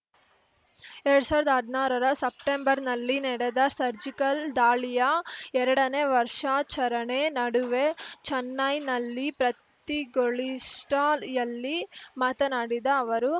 ಎರಡ್ ಸಾವಿರದ ಹದ್ನಾರರ ಸೆಪ್ಟಂಬರ್‌ನಲ್ಲಿ ನಡೆದ ಸರ್ಜಿಕಲ್‌ ದಾಳಿಯ ಎರಡನೇ ವರ್ಷಾಚರಣೆ ನಡುವೆ ಚೆನ್ನೈನಲ್ಲಿ ಪ್ರತಿಗೊಳಿಷ್ಟಾಯಲ್ಲಿ ಮಾತನಾಡಿದ ಅವರು